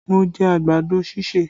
Mo jẹ àgbàdo ṣíṣè